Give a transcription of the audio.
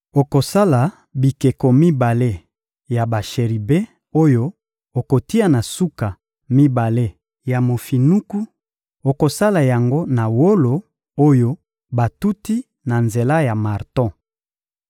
Okosala bikeko mibale ya basheribe oyo okotia na suka mibale ya mofinuku; okosala yango na wolo oyo batuti na nzela ya marto.